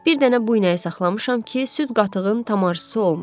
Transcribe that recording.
Bir dənə bu inəyi saxlamışam ki, süd-qatıqın tamahsızı olmayım.